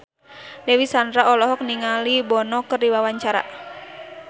Dewi Sandra olohok ningali Bono keur diwawancara